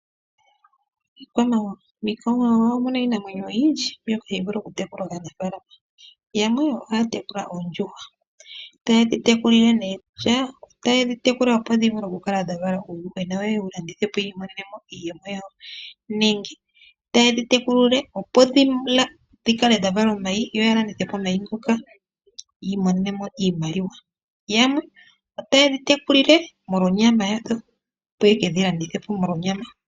Iikwamawawa, miikwamawawa omu na iinamwenyo oyindji mbyoka hayi vulu okutekulwa kaanafaalama. Yamwe ohaya tekula oondjuhwa, taye dhi tekula opo dhi vule okukala dha vala uuyuhwena, yo yewu landithe po yi imonene mo iiyemo yawo, nenge otaye dhi tekula, opo dhi vale omayi yo ya landithe po omayi ngoka yi imonene mo iimaliwa. Yamwe otaye dhi tekula molwa onyama yadho, opo ye kedhi landithe po molwa onyama.